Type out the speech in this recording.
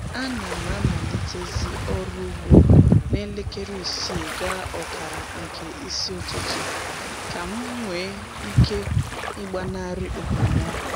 A na m amalitezi ọrụ ugbo na elekere isii gaa ọkara nke isi ụtụtụ ka m nwee ike ịgbanarị okpomọkụ